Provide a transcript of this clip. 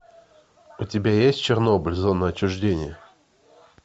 у тебя есть чернобыль зона отчуждения